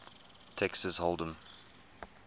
texas hold em